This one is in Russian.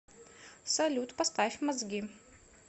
салют поставь мозги